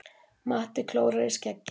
Matti klórar í skeggið.